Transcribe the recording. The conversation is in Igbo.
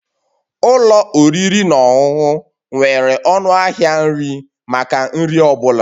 Ụlọ oriri na ọṅụṅụ nwere ọnụ ahịa nri maka nri ọ bụla